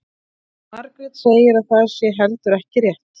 Margrét segir að það sé heldur ekki rétt.